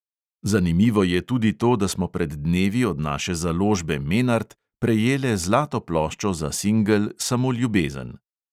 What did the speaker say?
"Zanimivo je tudi to, da smo pred dnevi od naše založbe menart prejele zlato ploščo za singel samo ljubezen."